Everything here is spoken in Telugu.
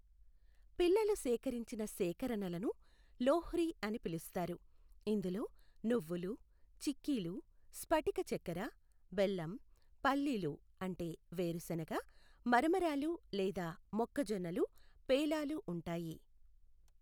పిల్లలు సేకరించిన సేకరణలను లోహ్రి అని పిలుస్తారు, ఇందులో నువ్వులు, చిక్కీలు, స్పటిక చక్కెర, బెల్లం, పల్లీలు అంటే వేరుశెనగ, మరమరాలు లేదా మొక్కజొన్నలు పేలాలు ఉంటాయి.